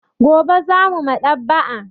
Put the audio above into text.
Gobe za mu Maɗ'aba'a.